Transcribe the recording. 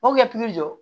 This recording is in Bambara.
jɔ